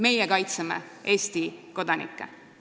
Meie kaitseme Eesti kodanikke.